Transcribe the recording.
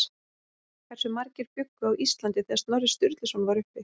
Hversu margir bjuggu á Íslandi þegar Snorri Sturluson var uppi?